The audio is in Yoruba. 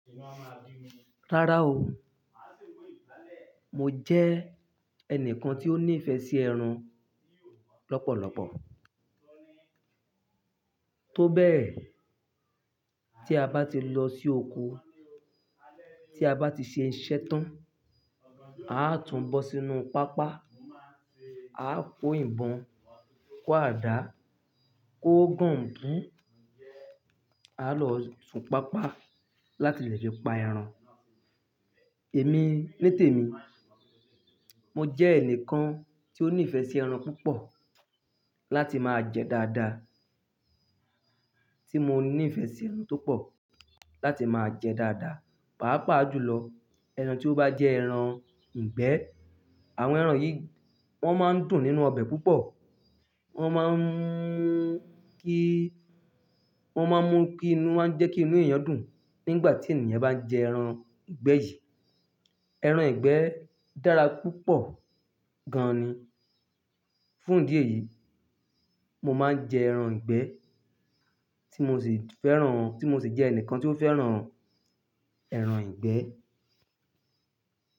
Rárá o, mo jẹ́ ẹnìkan tí ó ní ìfẹ́ sí ẹran lọ́pọ̀lọ́pọ̀. Tó bẹ́ẹ̀, tí a bá ti lọ sí oko, tí a bá ti ṣe iṣẹ́ tán, a á tún bọ́ sínú pápá, a á kó ìbọn, kó àdá, kó gọ̀ǹgbùn, a lọ sun pápá láti lè fi pa ẹran. Èmi ní tèmi, mo jẹ́ ẹnìkan tí ó ní ìfẹ́ sí ẹran púpọ̀ láti máa jẹ dáadáa, tí mo ní ìfẹ́ sí ẹran tó pọ̀ láti máa jẹ dáadáa. Páápàá jùlọ ẹran tí ó bá jẹ́ ẹran ìgbẹ́. Àwọn ẹran yìí wọ́n máa ń dùn nínú ọbẹ̀ púpọ̀. Wọ́n máa ń mú kí, wọ́n máa ń mú kí inú, wọ́n máa ń jẹ́ kí inú èèyàn dùn nígbà tí ènìyàn bá ń jẹ ẹran ìgbẹ́ yìí. Ẹran ìgbẹ́ dára púpọ̀ gan ni. Fún ìdí èyí, mo máa ń jẹ ẹran ìgbẹ́ tí mo sì fẹ́ràn, tí mo sì jẹ́ ẹnìkan tí ó fẹ́ràn ẹran ìgbẹ́.